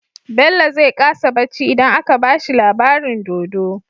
Bello zai ƙasa bacci idan aka bashi labarin dodo